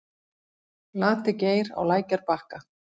Lati-Geir á lækjarbakka